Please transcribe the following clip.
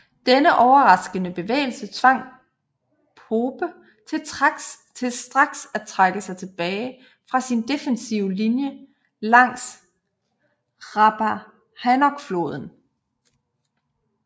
Denne overraskende bevægelse tvang Pope til straks at trække sig tilbage fra sin defensive linje langs Rappahannockfloden